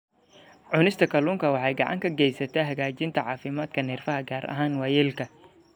Cunista kalluunka waxay gacan ka geysataa hagaajinta caafimaadka neerfaha, gaar ahaan waayeelka.